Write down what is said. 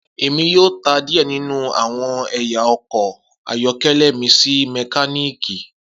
Emi yoo ta diẹ ninu awọn ẹya ọkọ ayọkẹlẹ mi si mekaniki.